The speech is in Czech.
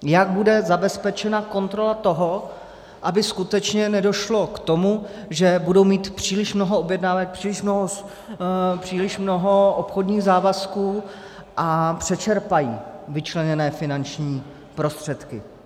Jak bude zabezpečena kontrola toho, aby skutečně nedošlo k tomu, že budou mít příliš mnoho objednávek, příliš mnoho obchodních závazků a přečerpají vyčleněné finanční prostředky?